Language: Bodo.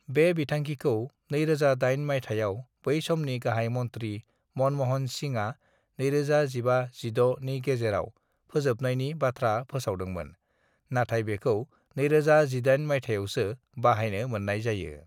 "बे बिथांखिखौ 2008 मायथाइयाव बै समनि गाहायमन्थ्रि मनमोहन सिंहआ 2015-16 नि गेजेराव फोजोबनायनि बाथ्रा फोसावदोंमोन, नाथाय बेखौ 2018 मायथाइयावसो बाहायनो मोननाय जायो।"